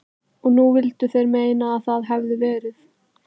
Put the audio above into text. Og nú vildu þeir meina að það hefðu verið